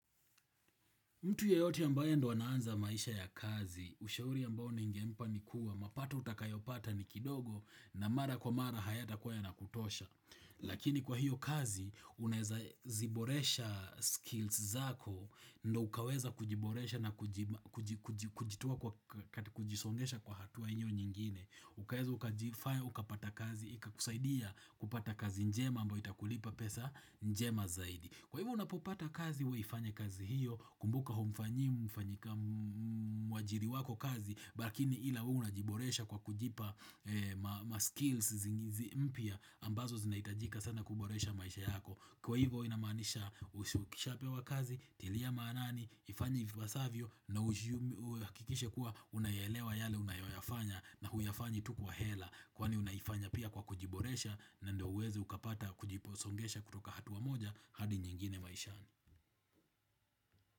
Mtu yeyoti ambayo ndo wanaanza maisha ya kazi, ushauri ambayo ningempa ni kuwa, mapato utakayopata ni kidogo na mara kwa mara hayatakuwa yanakutosha. Lakini kwa hiyo kazi, unaeza ziboresha skills zako, ndo ukaweza kujiboresha na kujitoa kwa kujisongesha kwa hatua hiyo nyingine. Ukaweza ukajifayya, ukapata kazi, ikakusaidia kupata kazi njema ambayo itakulipa pesa njema zaidi. Kwa hivyo unapopata kazi, we ifanye kazi hiyo, kumbuka humfanyii, mfanyika mwajiri wako kazi, lakini ila unajiboresha kwa kujipa ma skills zingizi mpya, ambazo zinaitajika sana kuboresha maisha yako. Kwa hivo inamaanisha us ukisha pewa kazi, tilia maanani, ifanye vipasavyo na ujiumi, hakikishe kuwa unayelewa yale unayoyafanya na huyafanyi tu kwa hela Kwani unayifanya pia kwa kujiboresha na ndo uwezi ukapata kujiposongesha kutoka hatua moja hadi nyingine maishani.